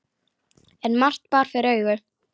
En margt bar fyrir augu.